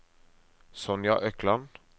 Sonja Økland